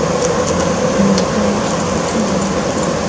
Uni yuta olishimga ishonaman.